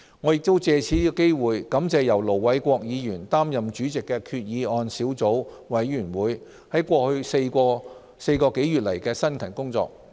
我亦借此機會感謝由盧偉國議員擔任主席的決議案小組委員會在過去4個多月的辛勤工作。